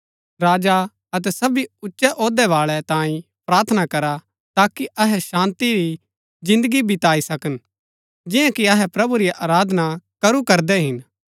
राजा अतै सबी ऊचै औह्दै बाळै तांई प्रार्थना करा ताकि अहै शान्ती री जिन्दगी बताई सकन जिन्या कि अहै प्रभु री आराधना करू करदै हिन